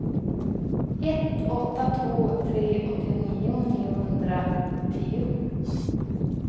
ett åtta två tre åttionio niohundratio